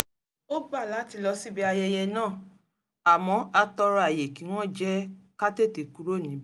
a gbà láti lọ síbi ayẹyẹ náà àmọ́ a tọrọ àyè kí wọ́n jẹ́ ká tètè kúrò níbẹ̀